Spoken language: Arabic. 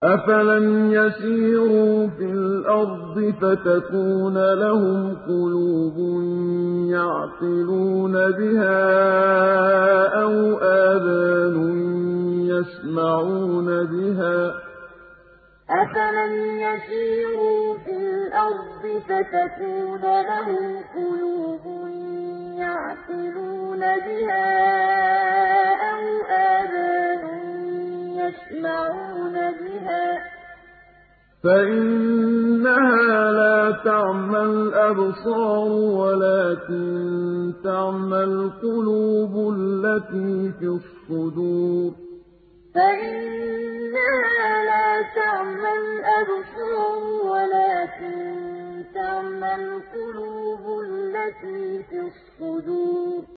أَفَلَمْ يَسِيرُوا فِي الْأَرْضِ فَتَكُونَ لَهُمْ قُلُوبٌ يَعْقِلُونَ بِهَا أَوْ آذَانٌ يَسْمَعُونَ بِهَا ۖ فَإِنَّهَا لَا تَعْمَى الْأَبْصَارُ وَلَٰكِن تَعْمَى الْقُلُوبُ الَّتِي فِي الصُّدُورِ أَفَلَمْ يَسِيرُوا فِي الْأَرْضِ فَتَكُونَ لَهُمْ قُلُوبٌ يَعْقِلُونَ بِهَا أَوْ آذَانٌ يَسْمَعُونَ بِهَا ۖ فَإِنَّهَا لَا تَعْمَى الْأَبْصَارُ وَلَٰكِن تَعْمَى الْقُلُوبُ الَّتِي فِي الصُّدُورِ